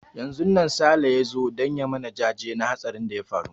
Yanzun nan Sale ya zo don ya yi mana jaje na hatsarin da ya faru.